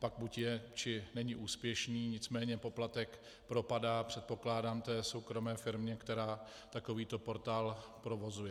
Pak buď je, nebo není úspěšný, nicméně poplatek propadá, předpokládám, té soukromé firmě, která takovýto portál provozuje.